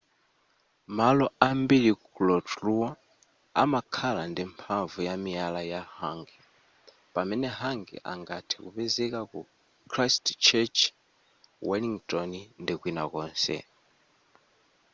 malo ambiri ku rotorua amakhala ndi mphamvu ya miyala ya hangi pamene hangi angathe kupezeka ku christchurch wellington ndi kwina konse